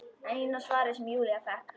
Eina svarið sem Júlía fékk.